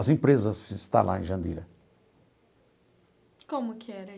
As empresas a se instalar em Jandira. Como que era?